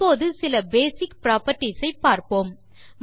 இப்போது சில basic properties ஐ கூறுகிறேன்